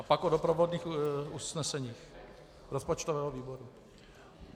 A pak o doprovodných usneseních rozpočtového výboru.